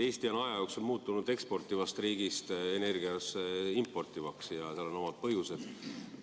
Eesti on aja jooksul muutunud energiat eksportivast riigist importivaks ja seal on omad põhjused.